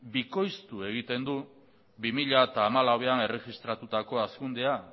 bikoiztu egiten du bi mila hamalauan erregistratutako hazkundea